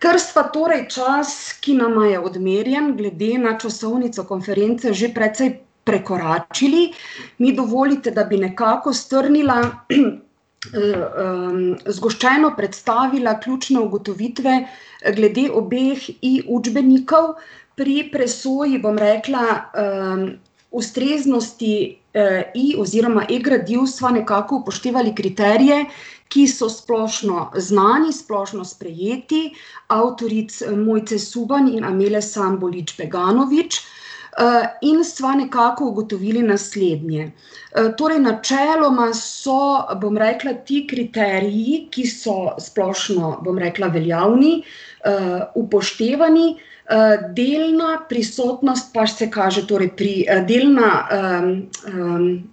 Ker sva torej čas, ki nama je odmerjen glede na časovnico konference že precej prekoračili, mi dovolite, da bi nekako strnila, zgoščeno predstavila ključne ugotovitve, glede obeh i-učbenikov. Pri presoji, bom rekla, ustreznosti, i- oziroma e-gradiv sva nekako upoštevali kriterije, ki so splošno znani, splošno sprejeti, avtoric, Mojce Suban in Amile Sambulič Peganovič, in sva nekako ugotovili naslednje: torej načeloma so, bom rekla, ti kriteriji, ki so, bom rekla, splošno veljavni, upoštevani, delna prisotnost pa se kaže torej pri, delna,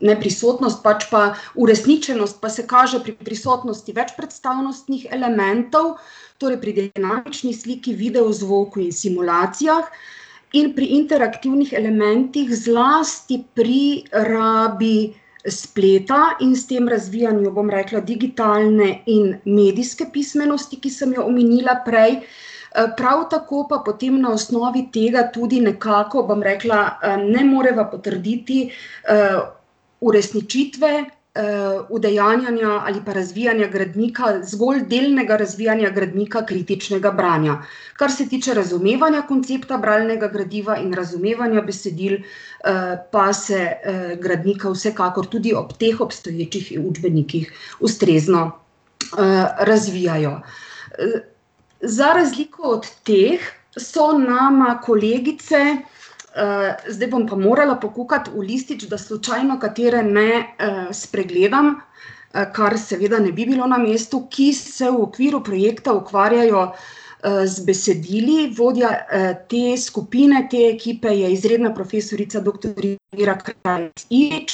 ne prisotnost, pač pa uresničenost pa se kaže pri prisotnosti večpredstavnostnih elementov, to je pri dinamični sliki, videu, zvoku in simulacijah in pri iterativnih elementih, zlasti pri rabi spleta in s tem razvijanju, bom rekla, digitalne in medijske pismenosti, ki sem jo omenila prej. prav tako pa potem na osnovi tega tudi nekako, bom rekla, ne moreva potrditi, uresničitve, udejanjanja ali pa razvijanja gradnika, zgolj delnega razvijanja gradnika kritičnega branja. Kar se tiče razumevanja koncepta bralnega gradiva in razumevanja besedil, pa se, gradnika vsekakor tudi ob teh obstoječih i-učbenikih ustrezno, razvijajo. za razliko od teh so nama kolegice ... zdaj bom pa morala pokukati v listič, da slučajno katere ne, spregledam, kar seveda ne bi bilo na mestu, ki se v okviru projekta ukvarjajo, z besedili. Vodja, te skupine, te ekipe je izredna profesorica, doktorica Mira Krajnc Ivič,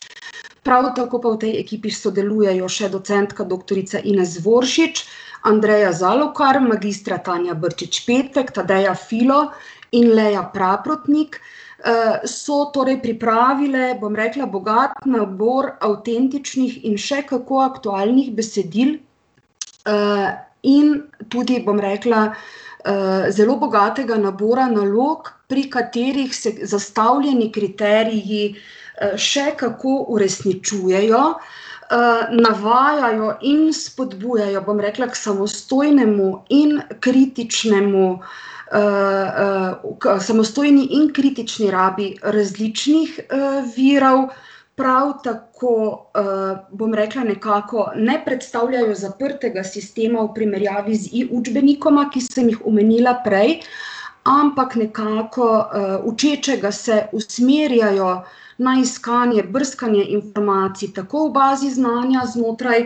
prav tako pa v tej ekipi sodelujejo še docentka doktorica Ines Voršič, Andreja Zalokar, magistra Tanja Brčič Petek, Tadeja Filo in Leja Praprotnik. so torej pripravile, bom rekla, bogat nabor avtentičnih in še kako aktualnih besedil, in tudi, bom rekla, zelo bogatega nabora nalog, pri katerih se zastavljeni kriteriji, še kako uresničujejo, navajajo in spodbujajo, bom rekla, ko samostojnemu in kritičnemu ... k samostojni in kritični rabi različnih, virov, prav tako, bom rekla, nekako ne predstavljajo zaprtega sistema v primerjavi z i-učbenikoma, ki sem ju omenila prej, ampak nekako, učečega se usmerjajo na iskanje, brskanje informacij, tako v bazi znanja znotraj,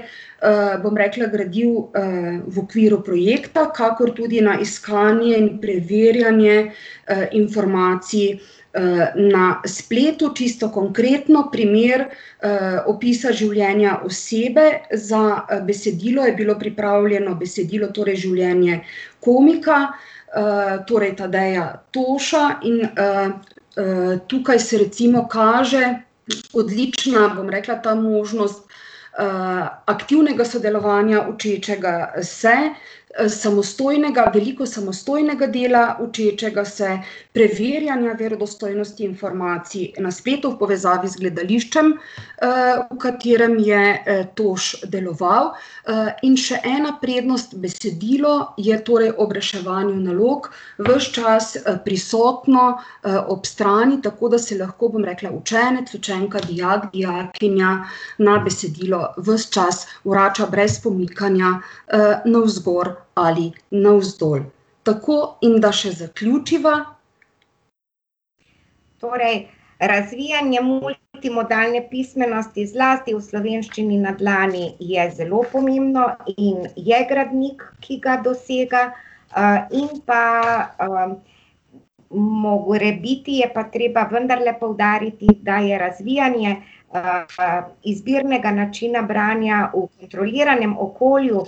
bom rekla, gradiv, v okviru projekta, kakor tudi na iskanje in preverjanje, informacij, na spletu. Čisto konkretno, primer, opisa življenja osebe. Za, besedilo je bilo pripravljeno besedilo, torej življenje komika, torej Tadeja Toša in, tukaj se recimo kaže odlična, bom rekla, ta možnost, aktivnega sodelovanja učečega se, samostojnega, veliko samostojnega dela učečega se, preverjanja verodostojnosti informacij na spletu v povezavi z gledališčem, v katerem je, Toš deloval, in še ena prednost: besedilo je torej ob reševanju nalog ves čas, prisotno, ob strani, tako da se lahko, bom rekla, učenec, učenka, dijak, dijakinja na besedilo ves čas vrača brez pomikanja, navzgor ali navzdol. Tako, in da še zaključiva ... Torej, razvijanje multimodalne pismenosti, zlasti v Slovenščini na dlani, je zelo pomembno in je gradnik, ki ga dosega. in pa, morebiti je pa treba vendarle poudariti, da je razvijanje, izbirnega načina branja v kontroliranem okolju, ......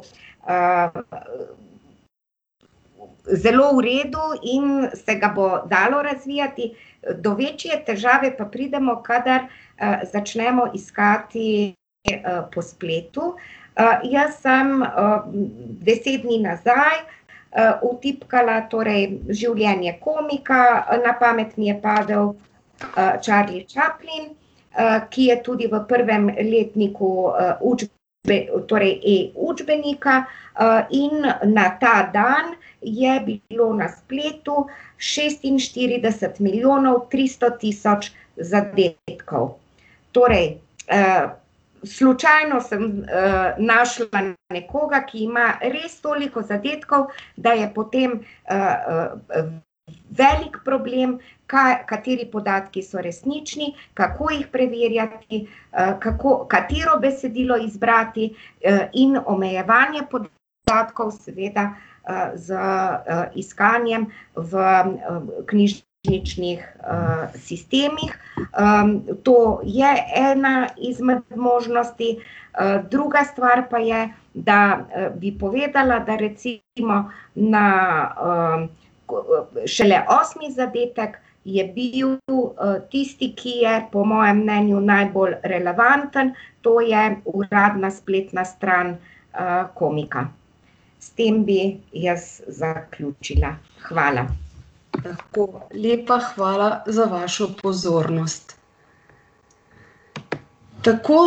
zelo v redu in se ga bo dalo razvijati. do večje težave pa pridemo, kadar, začnemo iskati po spletu. jaz sem, deset dni nazaj, vtipkala torej življenje komika, na pamet mi je padel, Charlie Chaplin, ki je tudi v prvem letniku, torej e-učbenika, in na ta dan je bilo na spletu šestinštirideset milijonov tristo tisoč zadetkov. Torej, slučajno sem, našla nekoga, ki ima res toliko zadetkov, da je potem, velik problem, kateri podatki so resnični, kako jih preverjati, kako, katero besedilo izbrati, in omenjevanje podatkov seveda z, iskanjem v, knjižničnih, sistemih. to je ena izmed možnosti, druga stvar pa je, da, bi povedala, da recimo na, šele osmi zadetek je bil tu tisti, ki je bil po mojem mnenju najbolj relevanten, to je uradna spletna stran, komika. S tem bi jaz zaključila, hvala. Tako, lepa hvala za vašo pozornost. Tako,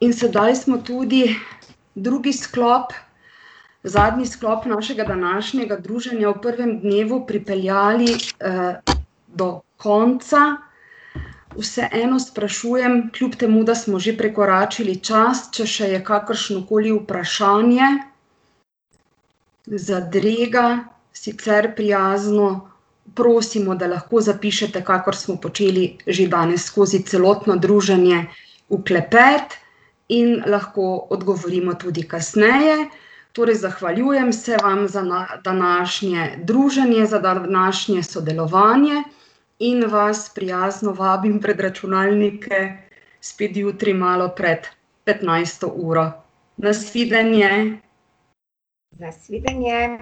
in sedaj smo tudi drugi sklop, zadnji sklop našega današnjega druženja v prvem dnevu pripeljali, do konca. Vseeno sprašujem, kljub temu, da smo že prekoračili čas, če še je kakršnokoli vprašanje? Zadrega? Sicer prijazno prosimo, da lahko zapišete, kakor smo počeli že danes skozi celotno druženje, v klepet. In lahko odgovorimo tudi kasneje. Torej zahvaljujem se vam za današnje druženje, za današnje sodelovanje in vas prijazno vabim pred računalnike spet jutri, malo pred petnajsto uro. Na svidenje. Na svidenje.